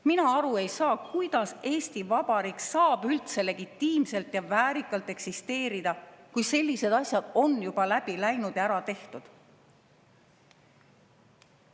Mina ei saa aru, kuidas Eesti Vabariik saab üldse legitiimselt ja väärikalt eksisteerida, kui sellised asjad on juba siit läbi läinud ja ära tehtud.